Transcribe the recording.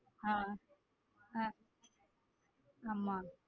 ஹம் ஹம் ஆமா.